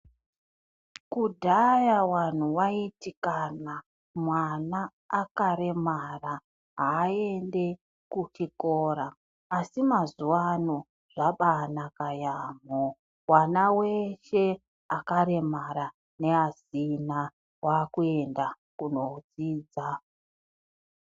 Kudhaya vantu vaiti mwana akaremara haendi kuchikora asi mazuva ano zvabanaka yambo vana veshe vakaremara nevasina vakuenda kundodzidza.